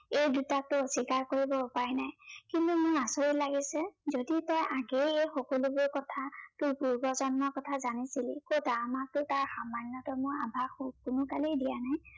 এই দুটাকটো অস্বীকাৰ কৰিবৰ উপায় নাই। কিন্তু মোৰ আচৰিত লাগিছে, যদি তই আগেয়ে এই সকলোবোৰ কথা, তোৰ পূৰ্বজন্মৰ কথা জানিছিলে, কতা আমাকতো তাৰ সামান্য়তমো আভাস কোনো কালেই দিয়া নাই